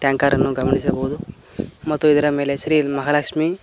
tanker ಅನ್ನು ಗಮನಿಸಬಹುದು ಮತ್ತು ಇದರ ಮೇಲೆ ಶ್ರೀ ಮಾಹಾಲಕ್ಶ್ಮಿ --